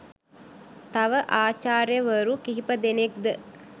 තව ආචාර්යවරු කිහිපදෙනෙක් ද